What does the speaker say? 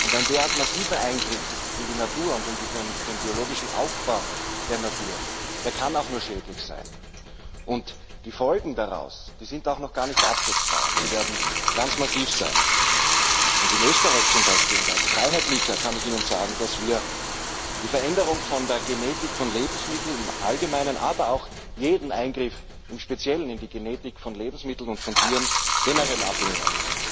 Ein derart massiver Eingriff in die Natur und den biologischen Aufbau der Natur, der kann auch nur schädlich sein. Die Folgen dessen sind auch noch gar nicht abschätzbar, und sie werden ganz massiv sein. In Österreich zum Beispiel und als Freiheitlicher kann ich Ihnen sagen, dass wir die Veränderung der Genetik von Lebensmitteln im Allgemeinen, aber auch jeden Eingriff im Speziellen in die Genetik von Lebensmitteln und von Tieren generell ablehnen.